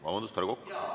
Vabandust, härra Kokk!